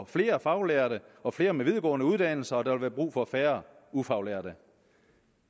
flere faglærte og flere med videregående uddannelser og der vil være brug for færre ufaglærte